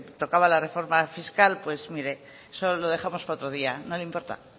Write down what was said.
tocaba la reforma fiscal pues mire eso lo dejamos para otro día no le importa